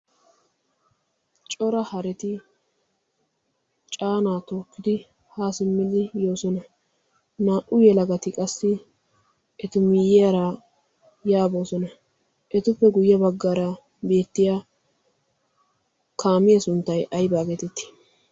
Cora hareti caana tookkidi ha simmid yoosona. naa''u yelagati qassi eta miyiyyara ya boosona. etuppe guyye baggara beettiya kaamiya sunttay aybba getetti?